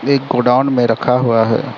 एक गोडाउन में रखा हुआ है।